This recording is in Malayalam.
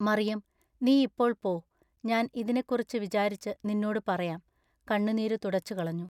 “മറിയം നീ ഇപ്പോൾ പോ ഞാൻ ഇതിനെക്കുറിച്ചു വിചാരിച്ചു നിന്നോടു പറയാം കണ്ണുനീരു തുടച്ചുകളഞ്ഞു.